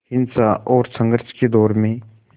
हिंसा और संघर्ष के दौर में